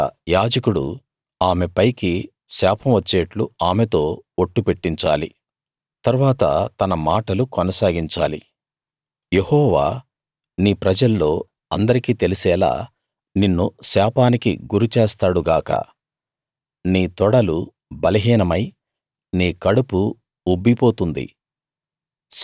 ఇక్కడ యాజకుడు ఆమె పైకి శాపం వచ్చేట్లు ఆమెతో ఒట్టు పెట్టించాలి తరువాత తన మాటలు కొనసాగించాలి యెహోవా నీ ప్రజల్లో అందరికీ తెలిసేలా నిన్ను శాపానికి గురిచేస్తాడు గాక నీ తొడలు బలహీనమై నీ కడుపు ఉబ్బిపోతుంది